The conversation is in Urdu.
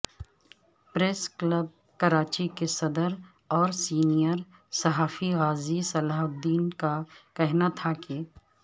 پریس کلب کراچی کے صدر اور سینئر صحافی غازی صلاح الدین کا کہنا تھا کہ